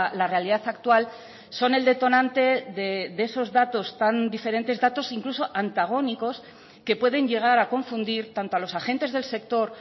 la realidad actual son el detonante de esos datos tan diferentes datos incluso antagónicos que pueden llegar a confundir tanto a los agentes del sector